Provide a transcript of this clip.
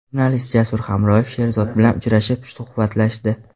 Jurnalist Jasur Hamroyev Sherzod bilan uchrashib, suhbatlashdi .